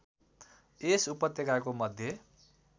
यस उपत्यकाको मध्य